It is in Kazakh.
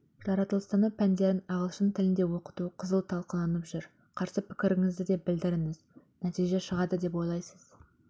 жаратылыстану пәндерін ағылшын тілінде оқыту қызу талқыланып жүр қарсы пікіріңізді де білдірдіңіз нәтиже шығады деп ойлайсыз